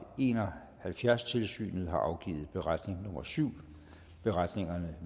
en og halvfjerds tilsynet har afgivet beretning nummer syv beretningerne